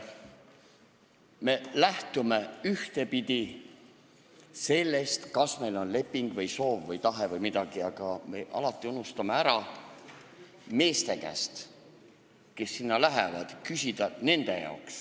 Me lähtume ühtepidi sellest, kas meil on mingi leping või soov või tahe, aga me alati unustame küsida meeste käest, kes sinna lähevad.